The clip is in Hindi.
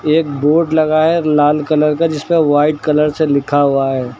एक बोर्ड लगा है लाल कलर का जिसपे व्हाइट कलर से लिखा हुआ है।